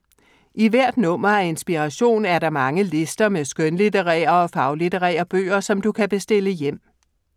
I hvert nummer af Inspiration er der mange lister med skønlitterære og faglitterære bøger, som du kan bestille hjem.